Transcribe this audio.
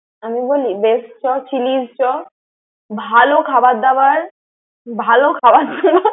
আমি বলি best চ, Chili's চ। ভালো খাবার দাবার। ভালো খাবার খাবার দাবার।